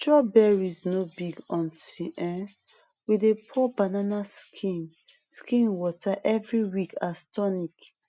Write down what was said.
strawberries no big until um we dey pour banana skin skin water every week as tonic